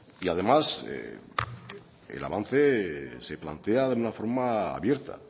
además el avance se plantea de una forma abierta